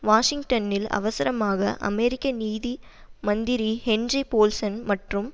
வாஷிங்டனில் அவசரமாக அமெரிக்க நிதி மந்திரி ஹென்றி போல்சன் மற்றும்